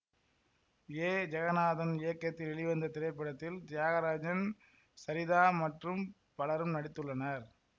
ஏ ஜெகநாதன் இயக்கத்தில் வெளிவந்த இத்திரைப்படத்தில் தியாகராஜன் சரிதா மற்றும் பலரும் நடித்துள்ளனர்